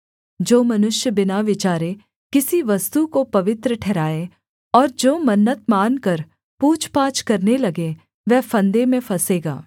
जो मनुष्य बिना विचारे किसी वस्तु को पवित्र ठहराए और जो मन्नत मानकर पूछपाछ करने लगे वह फंदे में फँसेगा